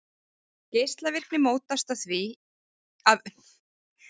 Geislavirkni mótast því af umbreytingum í atómkjörnum úr óstöðugum formum í stöðug form.